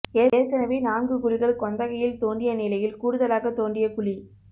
ஏற்கனவே நான்கு குழிகள் கொந்தகையில் தோண்டிய நிலையில் கூடுதலாக தோண்டிய குழி